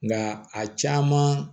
Nka a caman